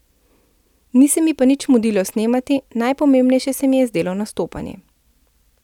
Ni se mi pa nič mudilo snemati, najpomembnejše se mi je zdelo nastopanje.